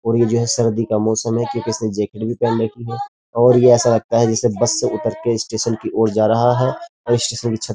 और ये जो है सर्दी का मौसम है क्योंकि इसने जैकेट भी पहन रखी है और ये ऐसा लगता है जैसे बस से उतर के स्टेशन की ओर जा रहा है और स्टेशन की छत --